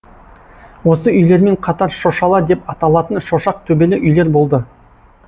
осы үйлермен қатар шошала деп аталатын шошақ төбелі үйлер болды